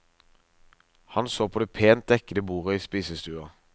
Han så på det pent dekkede bordet i spisestua.